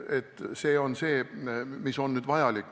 See on siis see, mis on vajalik.